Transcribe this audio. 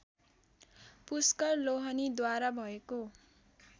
पुष्कर लोहनीद्वारा भएको